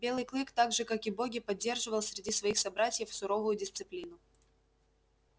белый клык так же как и боги поддерживал среди своих собратьев суровую дисциплину